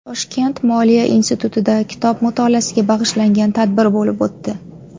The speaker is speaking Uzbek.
Toshkent moliya institutida kitob mutolaasiga bag‘ishlangan tadbir bo‘lib o‘tdi.